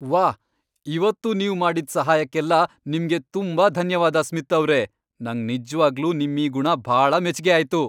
ವಾಹ್, ಇವತ್ತು ನೀವ್ ಮಾಡಿದ್ದ್ ಸಹಾಯಕ್ಕೆಲ್ಲ ನಿಮ್ಗೆ ತುಂಬಾ ಧನ್ಯವಾದ ಸ್ಮಿತ್ ಅವ್ರೇ. ನಂಗ್ ನಿಜ್ವಾಗ್ಲೂ ನಿಮ್ಮೀ ಗುಣ ಭಾಳ ಮೆಚ್ಗೆ ಆಯ್ತು!